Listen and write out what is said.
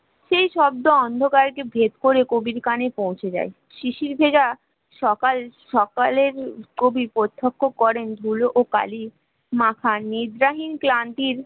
সেই শব্দ অন্ধকার কে ভেদ করে কবির কানে পৌঁছে যায় শিশির ভেজা সকাল সকলের কবি প্রত্যক্ষ করেন ধুলোকালি মাথা নিদ্রাহীন ক্লান্তির